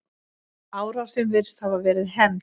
Árásin virðist hafa verið hefnd.